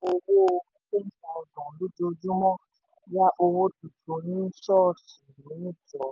owó ten thousand lojojúmọ́ yá owó tuntun ní ṣọ̀ọ̀ṣì mẹ́jọ.